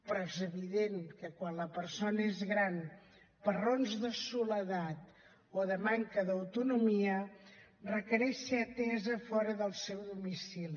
però és evident que quan la persona és gran per raons de soledat o de manca d’autonomia requereix ser atesa fora del seu domicili